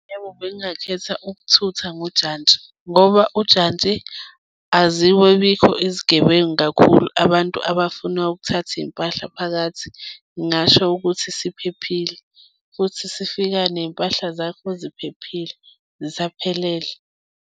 Yebo, bengingakhetha ukuthutha ngojantshi, ngoba ujantshi azibibikho izigebengu kakhulu, abantu abafuna ukuthatha iy'mpahla phakathi, ngingasho ukuthi siphephile futhi sifika nezimpahla zakho ziphephile, zisaphelele.